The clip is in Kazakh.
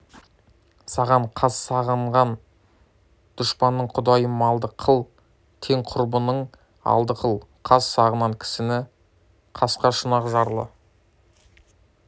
саған қас сағынған дұспанның құдайым малды қыл тең-құрбының алды қыл қас сағынған кісіні қасқа шұнақ жарлы